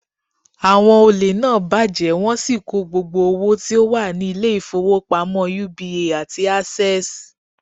Àwon olè náà bàjẹ́ wọ́n sì kó gbogbo owo tí ó wà ni Ilé ìfowópamọ́ UBA àti Access